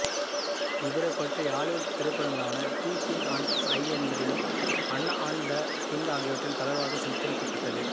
இவரைப்பற்றி Hollywood திரைப்படங்களான the King and I என்பதிலும் Anna and the King ஆகியவற்றில் தளர்வாக சித்தரிக்கப்பட்டது